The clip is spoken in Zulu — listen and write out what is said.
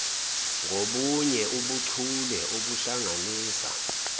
ngobunye ubuchule obuhlanganisa